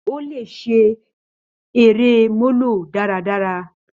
Ó lè ṣeré molo dáradára.